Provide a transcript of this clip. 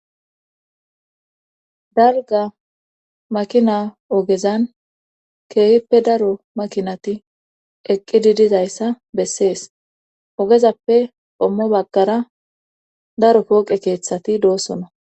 Dalga makina ogezan keehippe daro makinati eqqididizayssa bessees ogezappe ommo baggara daro kooqe keeththati doosona.